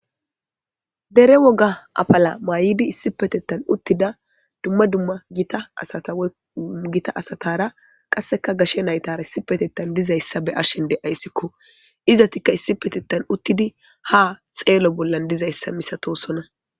dere woga afala maayidi issi petettan uttida dumma dumma gitaasatagita asatara qasseka gashe naytara issi petettan dizayssa be ashen de ayssikko izatikka issi petetan uttidi ha xeelo bollan dizayssa misatosona